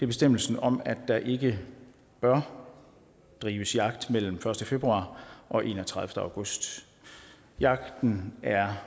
bestemmelsen om at der ikke bør drives jagt mellem den første februar og den enogtredivete august jagten er